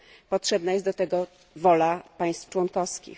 Potrzebna jest do tego wola państw członkowskich.